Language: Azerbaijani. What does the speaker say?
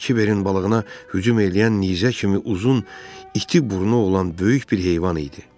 Kiberin balığına hücum eləyən nizə kimi uzun, iti burnu olan böyük bir heyvan idi.